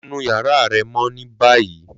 Lọ nu yara rẹ mọ ni bayi!